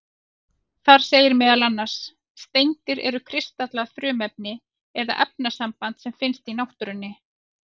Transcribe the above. Þar segir meðal annars: Steindir eru kristallað frumefni eða efnasamband sem finnst í náttúrunni.